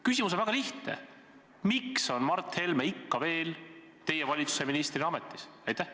Küsimus on väga lihtne: miks on Mart Helme ikka veel teie valitsuse ministri ametis?